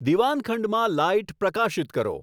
દીવાનખંડમાં light પ્રકાશિત કરો